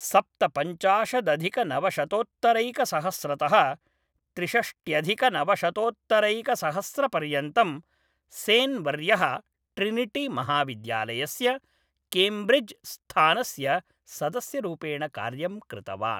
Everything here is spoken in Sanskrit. सप्तपञ्चाशदधिकनवशतोत्तरैकसहस्रतः त्रिषष्ट्यधिकनवशतोत्तरैकसहस्रपर्यन्तं, सेन् वर्यः ट्रिनिटी महाविद्यालयस्य, केम्ब्रिज् स्थानस्य सदस्यरूपेण कार्यं कृतवान्।